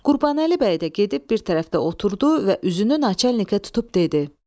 Qurbanəli bəy də gedib bir tərəfdə oturdu və üzünü Naçalnikə tutub dedi: